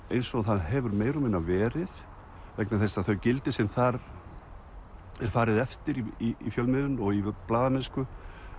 eins og það hefur meira og minna verið vegna þess að þau gildi sem þar er farið eftir í fjölmiðlun og í blaðamennsku